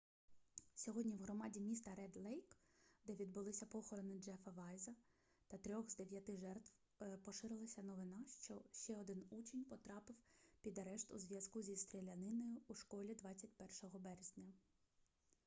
сьогодні в громаді міста ред-лейк де відбулися похорони джеффа вайза та трьох з дев'яти жертв поширилася новина що ще один учень потрапив під арешт у зв'язку зі стріляниною у школі 21 березня